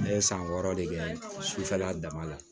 Ne ye san wɔɔrɔ de kɛ sufɛla dama la